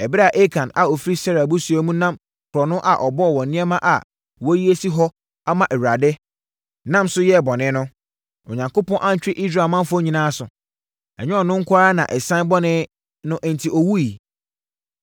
Ɛberɛ a Akan a ɔfiri Serah abusua mu nam korɔno a ɔbɔɔ wɔ nneɛma a wɔayi asi hɔ ama Awurade, nam so yɛɛ bɔne no, Onyankopɔn antwe Israel manfoɔ nyinaa aso? Ɛnyɛ ɔno nko ara na ɛsiane bɔne no enti ɔwuiɛ.’ ”